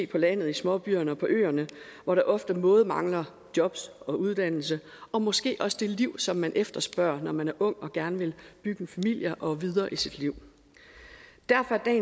på landet i småbyerne og på øerne hvor der ofte både mangler jobs og uddannelse og måske også det liv som man efterspørger når man er ung og gerne vil bygge en familie og komme videre i sit liv derfor er